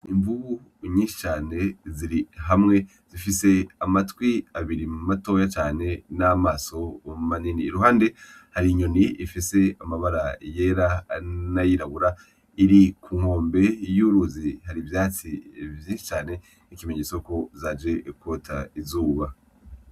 Imvubu nyinshi cane ziri hamwe, zifise amatwi abiri matoya cane n'amaso manini. Iruhande hari inyoni ifise amabara yera n'ayirabura iri ku nkombe y'uruzi, hari ivyatsi vyinshi cane nk'ikimenyetso ko zaje kwota izuba.